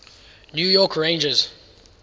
new york rangers